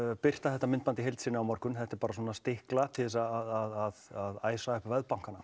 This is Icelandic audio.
birta þetta myndband í heild sinni á morgun þetta er bara stikla til að æsa upp